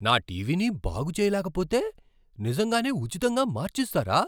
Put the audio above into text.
నా టీవీని బాగుచేయలేకపోతే నిజంగానే ఉచితంగా మార్చిస్తారా?